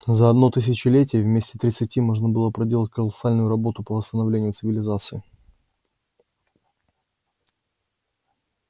за одно тысячелетие вместо тридцати можно проделать колоссальную работу по восстановлению цивилизации